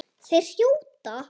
Þeir hrjóta.